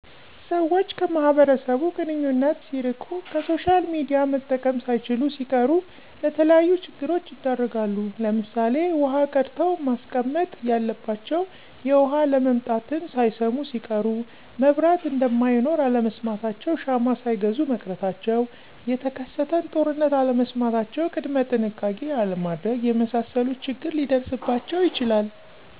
ሰወች ከማህበረሰቡ ግንኙነት ሲርቂ፣ ከሶሻልሚዲያ መጠቀም ሳይችሉሲቀሩ ለተለያዩ ችግሮች ይዳረጋሉ ለምሳሌ ዉሀቀድተዉመስቀመጥ እያለባቸዉ የዉሀአለምጣትን ሳይሰሙሲቀሩ፣ መብራት እነደማይኖር አለመስማታቸዉ ሻማሳይገዙ መቅረታቸዉ፣ የተከሰተንጦርነት አለመስማታቸዉ ቅድመጥንሸቃቄ አለማድረግ የመሳሰሉት ችግር ሊደርስባቸዉ ይችላል።